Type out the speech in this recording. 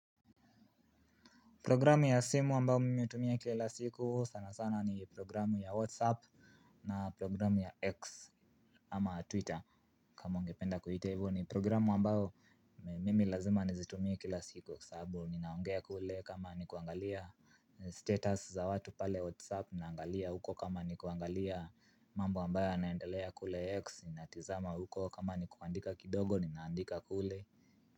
Programu ya simu ambayo mimi hutumia kila siku, sanasana ni programu ya WhatsApp na programu ya X ama, Twitter kama ungependa kuita hivyo, ni programu ambao mimi lazima nizitumia kila siku saabu, ninaongea kule kama nikuangalia status za watu pale WhatsApp ninaangalia huko kama nikuangalia mambo ambayo yanaendelea kule X natizama huko kama nikuandika kidogo ninaandika kule.